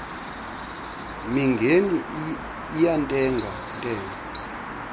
mingeni iyantenga ntenga